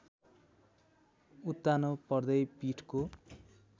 उत्तानो पर्दै पीठको